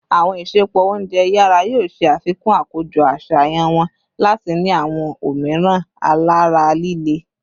Awọn isẹpo ounjẹ yara yoo ṣe afikun akojọ aṣayan wọn lati ni awọn omiiran alara lile